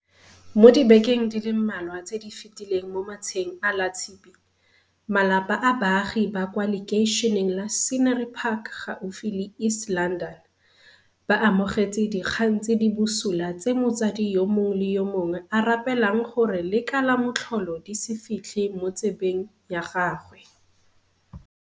Mo dibekeng di le mmalwa tse di fetileng mo matsheng a Latshipi, malapa a baagi ba kwa lekeišeneng la Scenery Park gaufi le East London, ba amogetse dikgang tse di busula tse motsadi yo mongwe le yo mongwe a rapelang gore le ka la motlholo di se fitlhe mo 'tsebeng ya gagwe.